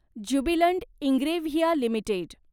Jubilant Ingrevia limited